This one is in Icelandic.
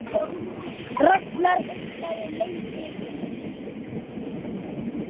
Ragnar hugsaði sig lengi um.